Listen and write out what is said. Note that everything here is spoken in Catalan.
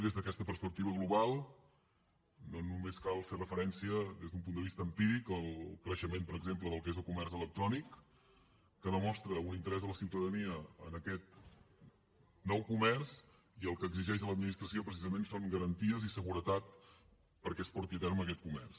des d’aquesta perspectiva global no només cal fer referència des d’un punt de vista empíric al creixement per exemple del que és el comerç electrònic que demostra un interès de la ciutadania en aquest nou comerç i el que exigeix de l’administració precisament són garanties i seguretat perquè es porti a terme aquest comerç